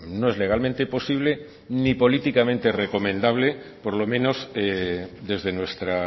no es legalmente posible ni políticamente recomendable por lo menos desde nuestra